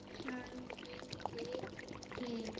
Sanniði til